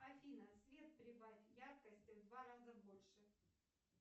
афина свет прибавь яркости в два раза больше